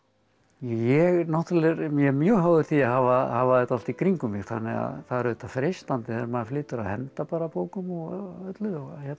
ég er mjög mjög háður því að hafa hafa þetta allt í kringum mig þannig að það er auðvitað freistandi þegar maður flytur að henda bara bókum og öllu